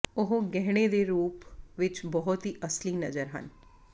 ਉਹ ਗਹਿਣੇ ਦੇ ਰੂਪ ਵਿੱਚ ਬਹੁਤ ਹੀ ਅਸਲੀ ਨਜ਼ਰ ਹਨ